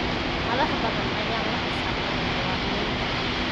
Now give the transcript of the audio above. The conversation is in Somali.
Madax badan ayaan la xisaabtamin muwaadiniinta.